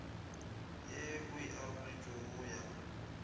ye o aroletšwe go ya